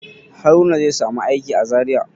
Haruna zai samu aiki a Zariya.